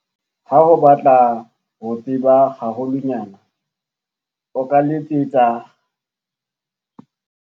Ha o batla ho tseba haholwanyane, o ka letsetsa